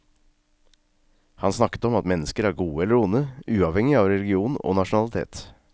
Han snakket om at mennesker er gode eller onde, uavhengig av religion og nasjonalitet.